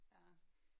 Ja